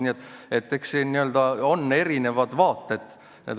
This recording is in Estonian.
Nii et eks nendele asjadele on erinevaid vaateid.